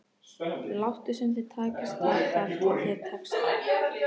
Láttu sem þér takist það þar til þér tekst það.